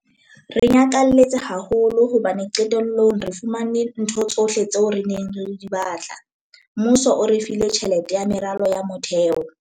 "Re nyakalletse haholo hobane qetellong re fumane ntho tsohle tseo re neng re di batla. Mmuso o re file tjhelete ya meralo ya motheo."